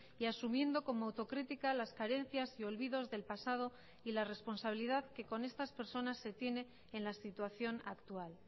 y asumiendo como autocrítica las carencias y olvidos del pasado y la responsabilidad que con estas personas se tiene en la situación actual